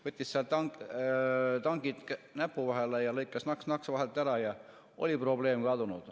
Võttis seal tangid näpu vahele ja lõikas naks-naks vahelt ära ja oli probleem kadunud.